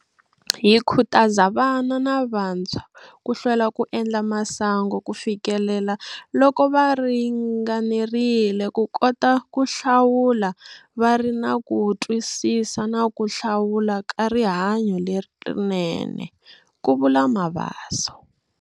Hi khutaza vana na vantshwa ku hlwela ku endla masangu kufikelaloko va ringanerile ku kota ku hlawula va ri na ku twisisa na ku hlawula ka rihanyo lerinene, ku vula Mabaso.